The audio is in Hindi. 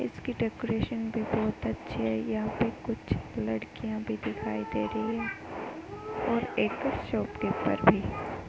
इसकी डेकोरेशन भी बहोत अच्छी है यहाँ पे कुछ लड़कियाँ भी दिखाई दे रही हैं और एक शॉपकीपर भी।